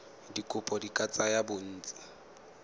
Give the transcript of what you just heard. dikopo di ka tsaya bontsi